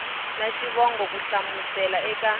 na xivongo ku hlamusela eka